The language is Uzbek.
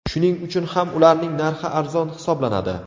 Shuning uchun ham ularning narxi arzon hisoblanadi.